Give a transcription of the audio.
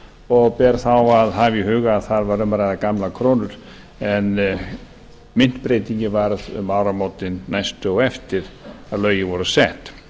og ber þá að hafa í huga að það var um að ræða gamlar krónur en myntbreytingin varð um áramótin næstu eftir að lögin voru sett